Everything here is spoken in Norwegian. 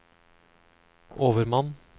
overmann